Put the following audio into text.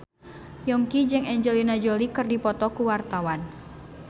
Yongki jeung Angelina Jolie keur dipoto ku wartawan